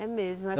É mesmo.